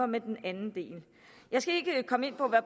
med den anden del jeg skal ikke komme ind på